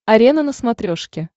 арена на смотрешке